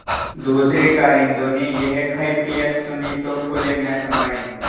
दूसरें कारिंदों ने यह कैफियत सुनी तो फूले न समाये